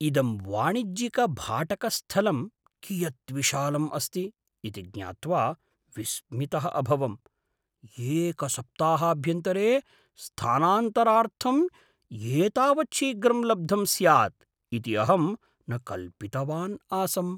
इदं वाणिज्यिकभाटकस्थलं कियत् विशालम् अस्ति इति ज्ञात्वा विस्मितः अभवम्, एकसप्ताहाभ्यन्तरे स्थानान्तरार्थम् एतावत् शीघ्रं लब्धं स्याद् इति अहं न कल्पितवान् आसम्!